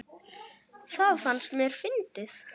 Það fannst mér fyndið.